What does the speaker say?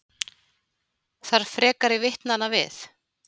Þarf frekari vitnanna við